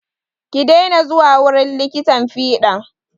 Ki dena zuwa wurin likitan fiɗan!